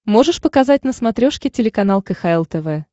можешь показать на смотрешке телеканал кхл тв